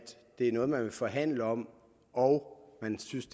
det er noget man vil forhandle om og at man synes